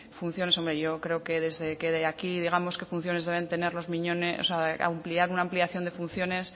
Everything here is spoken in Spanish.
yo creo que desde aquí digamos qué funciones deben tener los miñones ampliar una ampliación de funciones